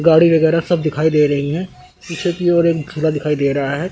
गाड़ी वगैरा सब दिखाई दे रही है। पीछे की और एक झूला दिखाई दे रहा है।